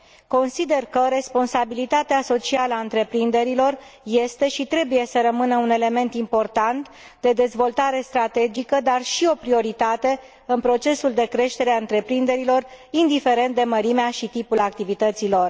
Consider că responsabilitatea socială a întreprinderilor este și trebuie să rămână un element important de dezvoltare strategică, dar și o prioritate în procesul de creștere a întreprinderilor, indiferent de mărimea și tipul activității lor.